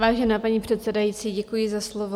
Vážená paní předsedající, děkuji za slovo.